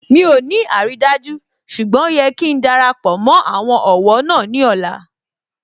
Mi ò ní àrídájú ṣùgbọ́n ó yẹ kí darapọ̀ mó àwọn ọ̀wọ́ náà ní ọ̀la